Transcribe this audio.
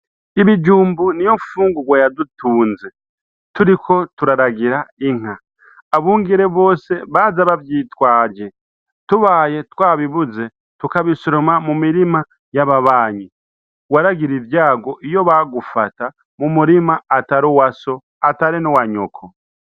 Ibijumbu ni yo mfungurwa yadutunze turiko turaragira inka abungere bose baza bavyitwaje tubaye twa bibuze tukabisuruma mu mirima y'ababanyi waragira ivyago iyo bagufata mu murima atari uwa so atari n'uwa nyoko.